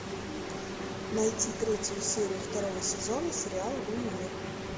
найти третью серию второго сезона сериала универ